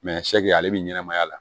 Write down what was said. ale bɛ ɲɛnɛmaya la